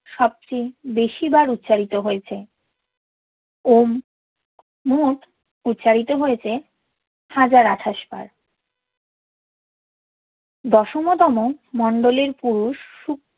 সবচেয়ে বেসি বার উচ্চারিত হ্য়ছে ওম মোত হাজার আথাস বার দশমতম মোন্দলির পুরুষ